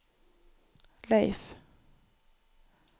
Leiv